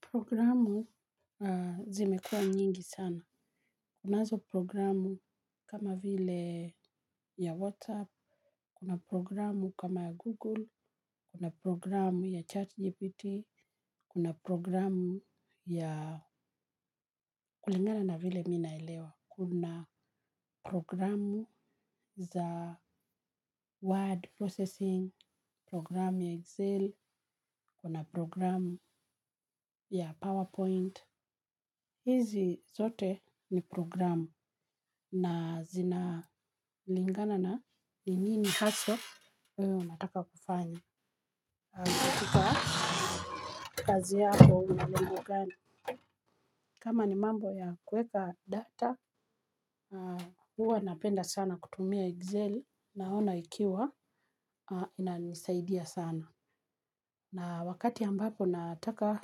Programu zimekuwa nyingi sana. Kunazo programu kama vile ya WhatsApp, kuna programu kama ya Google, kuna programu ya ChatGPT, kuna programu ya kulingana na vile mimi naelewa. Kuna programu za word processing, programu ya Excel, kuna programu ya PowerPoint. Hizi zote ni programu na zina lingana na ni nini haswa wewe unataka kufanya. Kwa kazi yako una lengo gani, kama ni mambo ya kuweka data, huwa napenda sana kutumia Excel naona ikiwa inanisaidia sana. Na wakati ambapo nataka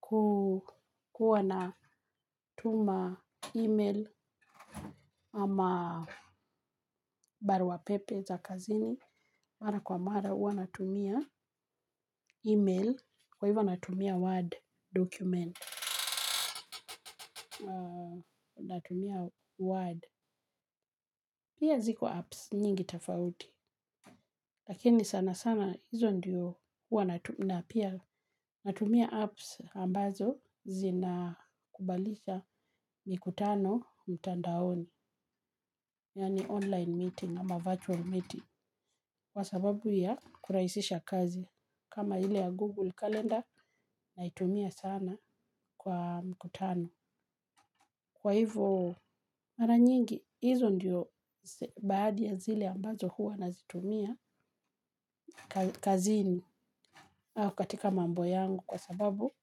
huwa natuma email ama barua pepe za kazini mara kwa mara huwa natumia email kwa hivyo natumia word document. Natumia word. Pia ziko apps nyingi tofauti. Lakini sana sana hizo ndiyo huwa na pia natumia apps ambazo zina kubalisha mikutano mtandaoni. Yani online meeting ama virtual meeting kwa sababu ya kurahisisha kazi kama ile ya Google Calendar naitumia sana kwa mkutano. Kwa hivyo mara nyingi hizo ndiyo baadhi ya zile ambazo hua nazitumia kazini au katika mambo yangu kwa sababu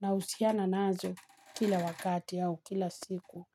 na husiana nazo kila wakati au kila siku.